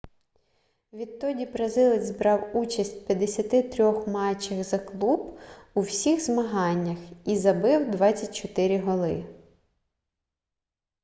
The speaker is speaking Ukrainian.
відтоді бразилець брав участь в 53 матчах за клуб у всіх змаганнях і забив 24 голи